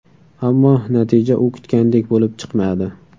Ammo natija u kutgandek bo‘lib chiqmadi.